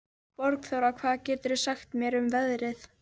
Borgþóra, hvað geturðu sagt mér um veðrið?